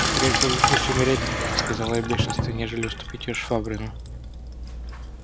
скорее соглашусь умереть сказал я в бешенстве нежели уступить её швабрину